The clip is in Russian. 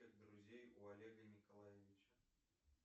друзей у олега николаевича